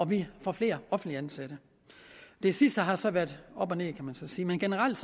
vi får flere offentligt ansatte det sidste har så været op og ned kan man sige men generelt